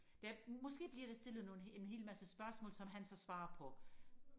der måske bliver der stillet nogle en hel masse spørgsmål som han så svarer på